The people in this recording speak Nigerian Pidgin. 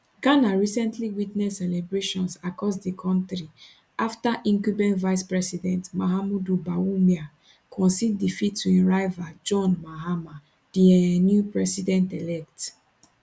ghana recently witness celebrations across di kontri afta incumbent vicepresident mahamudu bawumia concede defeat to im rival john mahama di um new presidentelect